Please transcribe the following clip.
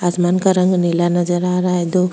आसमान का रंग नीला नजर आ रहा है दो --